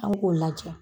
An k'o lajɛ